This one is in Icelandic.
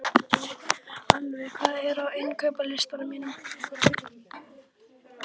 Alfa, hvað er á innkaupalistanum mínum?